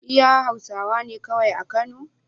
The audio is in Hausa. Iya hausawane kawai a kano?